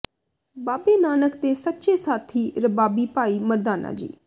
ਬਾਬੇ ਨਾਨਕ ਦੇ ਸੱਚੇ ਸਾਥੀ ਰਬਾਬੀ ਭਾਈ ਮਰਦਾਨਾ ਜੀ